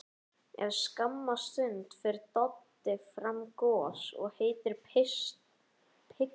Eftir skamma stund ber Doddi fram gos og heitar pitsur.